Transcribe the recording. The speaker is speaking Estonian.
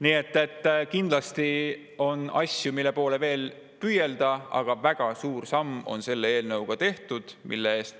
Nii et kindlasti on asju, mille poole veel püüelda, aga väga suur samm on selle eelnõuga tehtud.